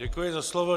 Děkuji za slovo.